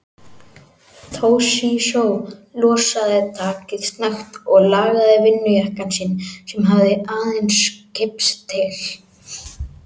Toshizo losaði takið snögt og lagaði vinnujakkann sinn sem hafði aðeins kipst til.